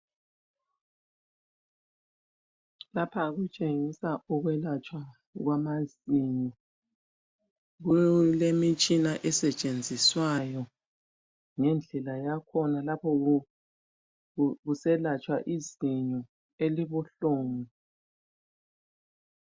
Lapha kutshengisa ukwelatshwa kwamazinyo. Kulemitshina esetshenziswayo ngendlela yakhona lapho kuselatshwa izinyo elibuhlungu.